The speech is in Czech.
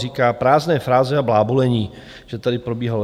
Říká, prázdné fráze a blábolení, že tady probíhalo.